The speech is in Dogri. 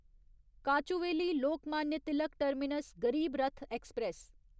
Kochuveli Lokmanya Tilak terminus Garib Rath express